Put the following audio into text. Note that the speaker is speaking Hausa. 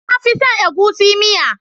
Na fi son egusi miya